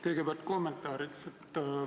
Kõigepealt kommentaar.